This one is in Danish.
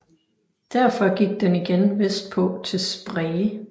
Derfor gik den igen vestpå til Spree